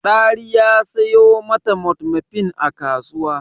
Dari ya sayo ma ta metformin a kasuwa.